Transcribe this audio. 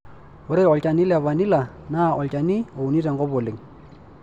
Ore olchani le vanila naa olchani ouni tenkop oleng.